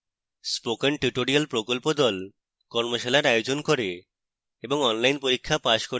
spoken tutorial প্রকল্প the কর্মশালার আয়োজন করে এবং online পরীক্ষা pass করলে প্রশংসাপত্র দেয়